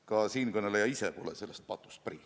Ka siinkõneleja ise pole sellest patust prii.